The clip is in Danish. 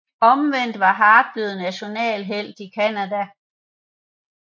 Omvendt var Hart blev nationalhelt i Canada